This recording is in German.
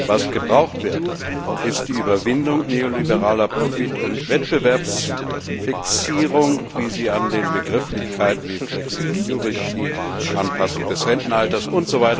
Was gebraucht wird, ist die Überwindung neoliberaler Profit und Wettbewerbsfixierung, wie sie an den Begrifflichkeiten wie Flexicurity, Anpassung des Rentenalters usw.